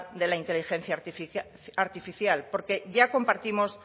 de la inteligencia artificial porque ya compartimos